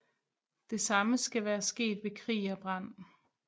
Det samme skal være sket ved krig og brand